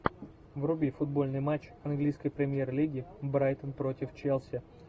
вруби футбольный матч английской премьер лиги брайтон против челси